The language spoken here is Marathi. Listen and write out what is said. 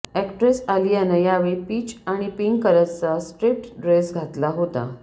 एक्ट्रेस आलियानं यावेळी पीच आणि पिंक कलरचा स्ट्रिप्ट ड्रेस घातला होता